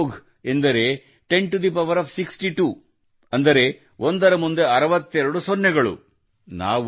ಒಂದು ಮಹೋಘ ಎಂದರೆ 10 62 ಕ್ಕೆ ಸಮನಾಗಿರುತ್ತದೆ ಅಂದರೆ ಒಂದರ ಮುಂದೆ 62 ಸೊನ್ನೆಗಳು ಅರವತ್ತೆರಡು ಸೊನ್ನೆಗಳು